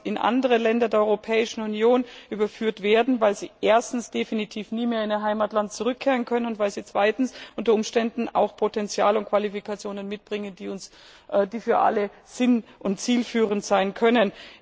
in andere Länder der Europäischen Union überführt werden könnten, weil sie erstens definitiv nie mehr in ihr Heimatland zurückkehren können und weil sie zweitens unter Umständen auch Potential und Qualifikationen mitbringen, die für alle sinnvoll und zielführend sein können.